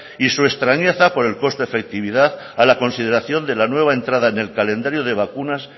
y su extrañeza por el coste efectividad a la consideración de la nueva entrada en el calendario de vacunas